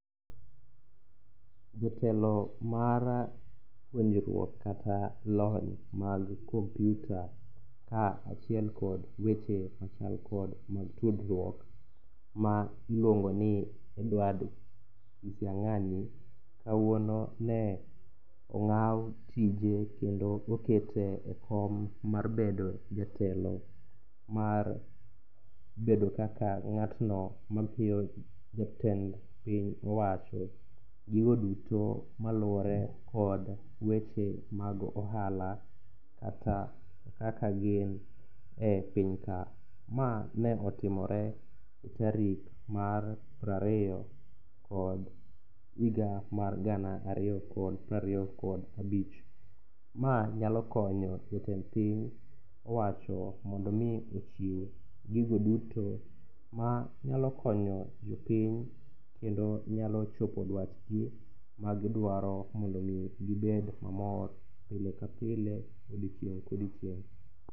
Jatelo mar puonjruok kata lony mag kompyuta ka achiel kod weche machal kod mag tudruok ma iluongoni Edward Kisiang'anyi kawuono ne ong'aw tije kendo okete e kom mar bedo jatelo mar bedo kaka ng'atno mamiyo jatend piny owacho gigo duto maluwore kod weche mag ohala kata kaka gin e pinyka. Ma ne otimore tarik mar prariyo, kod higa mar gana ariyo kod prariyo kod abich. Ma nyalo konyo jotend piny owacho mondo omi ochiw gigo duto ma nyalo konyo jopiny kendo nyalo chopo dwachgi magidwaro mondo omi gibed mamor, pile ka pile, odiochieng' kodiochieng'.